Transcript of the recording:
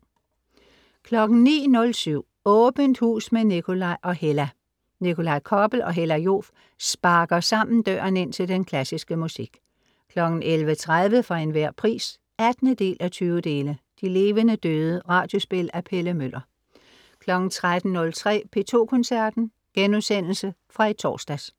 09.07 Åbent hus med Nikolaj og Hella. Nikolaj Koppel og Hella Joof sparker sammen døren ind til den klassiske musik 11.30 For Enhver Pris 18:20. De levende døde. Radiospil af Pelle Møller 13.03 P2 Koncerten.* Genudsendelse fra i torsdags